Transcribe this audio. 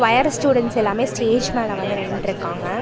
Higher students எல்லாமே stage மேல வந்து நின்ட்டுருக்காங்க.